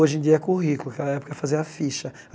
Hoje em dia é currículo, naquela época fazia a ficha.